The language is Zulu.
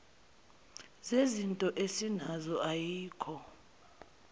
sezinto esinazo ayikho